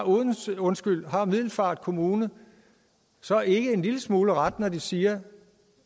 har middelfart kommune så ikke en lille smule ret når de siger